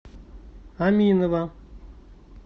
аминова